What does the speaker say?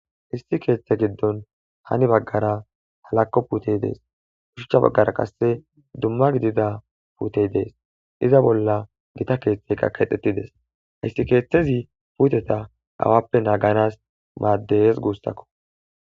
Issiti keththa giddon hani bagara hallako putte de'es ushshacha bagara qasse dumma gididda putte de'es iza bolla giththa keththay kedhdhetides hayssa keththazi putteta awappe nagganas madhdhes gussako.